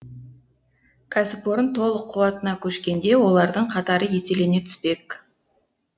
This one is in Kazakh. кәсіпорын толық қуатына көшкенде олардың қатары еселене түспек